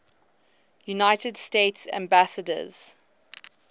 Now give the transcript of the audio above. united states ambassadors